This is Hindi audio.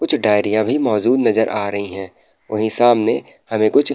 कुछ डायरियां भी मौजूद नजर आ रही हैं। वहीं सामने हमें कुछ --